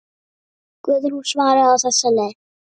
Guðrún svaraði á þessa leið.